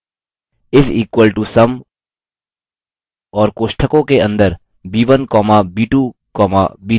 is equal to sum और कोष्ठकों के अंदर b1 comma b2 comma b3 type करें